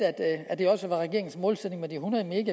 at det også var regeringens målsætning med de hundrede